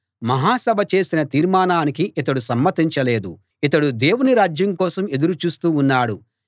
మహాసభ చేసిన తీర్మానానికి ఇతడు సమ్మతించలేదు ఇతడు దేవుని రాజ్యం కోసం ఎదురు చూస్తూ ఉన్నాడు